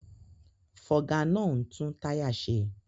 Fọga náà ń tún táyà ṣe